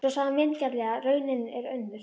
Svo sagði hann vingjarnlega: Raunin er önnur.